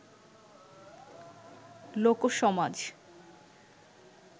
লোকসমাজ